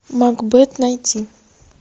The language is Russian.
макбет найти